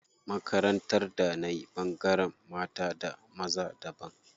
Makarantar da nayi ɓangaren mata da maza daban.